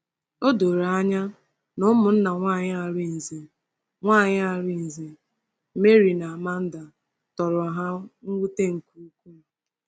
O doro anya na ụmụnna nwanyị Arinze — nwanyị Arinze — Mary na Amanda — tọrọ ha mwute nke ukwuu.